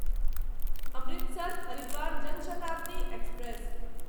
Amritsar Haridwar Jan Shatabdi express